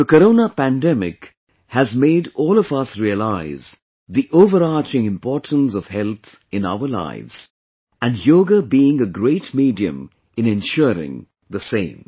The corona pandemic has made all of us realize the overarching importance of health in our lives and Yoga being a great medium in ensuring the same